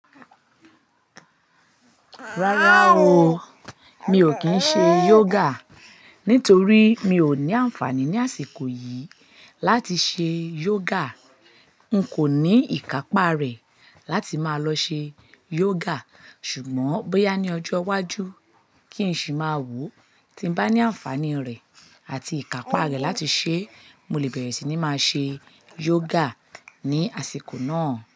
Rárá o, mi ò kín ṣe yoga nítorí mi ò ní ànfàní ní àsìkò yìí láti ṣe yoga. N kò ní ìkápá rẹ̀ láti máa lọ ṣe yoga. Ṣùgbọ́n bóyá ní ọjọ́ iwájú kí n sì máa wò, tí n bá ní ànfàní rẹ̀ àti ìkápá rẹ̀ láti ṣẹ, mo lè bẹ̀rẹ̀ sì ní máa ṣe yoga ní àsìkò náà.